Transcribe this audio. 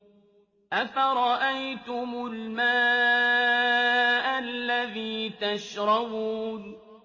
أَفَرَأَيْتُمُ الْمَاءَ الَّذِي تَشْرَبُونَ